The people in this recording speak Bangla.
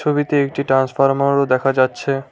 ছবিতে একটি ট্রান্সফরমারো দেখা যাচ্ছে।